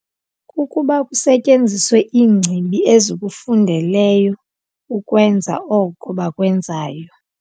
Kukuba kusetyenziswe iingcibi ezikufundeleyo ukwenza oko bakwenzayo.